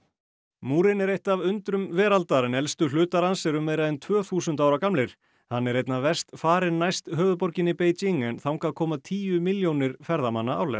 múrinn er eitt af undrum veraldar en elstu hlutar hans eru meira en tvö þúsund ára gamlir hann er einna verst farinn næst höfuðborginni Beijing en þangað koma tíu milljónir ferðamanna árlega